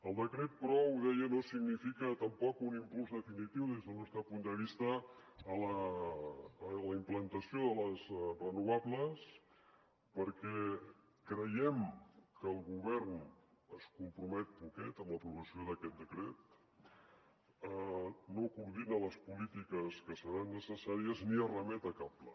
el decret però ho deia no significa tampoc un impuls definitiu des del nostre punt de vista a la implantació de les renovables perquè creiem que el govern es compromet poquet amb l’aprovació d’aquest decret no coordina les polítiques que seran necessàries ni es remet a cap pla